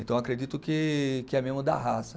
Então acredito que, que é mesmo da raça.